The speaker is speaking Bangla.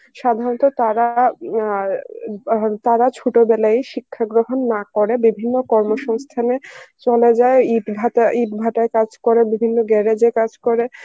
সাধারণত তারা উম আ তারা চত বেলায় শিক্ষা গ্রহণ না করে বিভিন্ন কর্ম সংস্থানে চলে যায় ইট ভা~ ইট ভাটায় কাজ করে বিভিন্ন garage এ কাজ করে